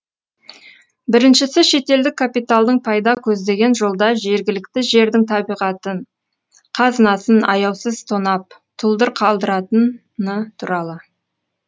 біріншісі шетелдік капиталдың пайда көздеген жолда жергілікті жердің табиғатын қазынасын аяусыз тонап тұлдыр қалдыратын туралы